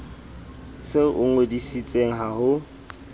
se o ngodisitse ha ho